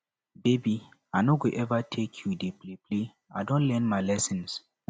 baby i no go eva take you dey playplay i don learn my lesson